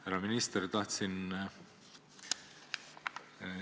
Härra minister!